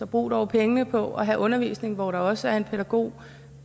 bruge pengene på at have undervisning hvor der også er en pædagog